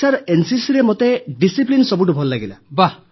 sir ଏନସିସିରେ ମୋତେ ଶୃଙ୍ଖଳା ସବୁଠୁ ଭଲ ଲାଗିଲା